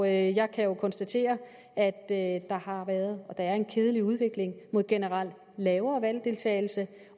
jeg kan jo konstatere at at der har været og er en kedelig udvikling mod en generelt lavere valgdeltagelse